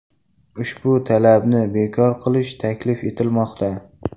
Ushbu talabni bekor qilish taklif etilmoqda.